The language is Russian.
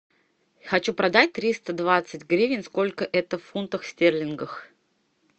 хочу продать триста двадцать гривен сколько это в фунтах стерлингах